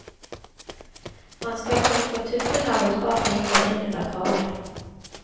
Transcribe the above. Man skal kunne få tuppene av et par fingre inn under kragen.